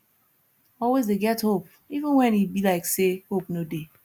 always dey get hope even wen e be like say hope no dey